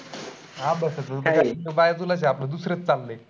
हा बाया तुला झापताय तुला दुसरेच झापताय.